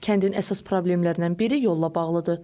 Kəndin əsas problemlərindən biri yolla bağlıdır.